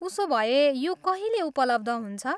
उसोभए, यो कहिले उपलब्ध हुन्छ?